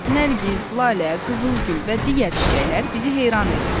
Nərgiz, lalə, qızılgül və digər çiçəklər bizi heyran edir.